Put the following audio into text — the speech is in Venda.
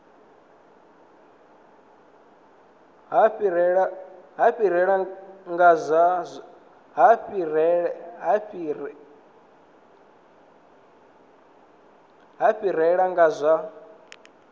ha fhirela nga kha zwa